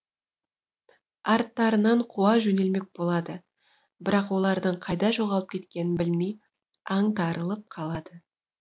арттарынан қуа жөнелмек болады бірақ олардың қайда жоғалып кеткенін білмей аңтарылып қалады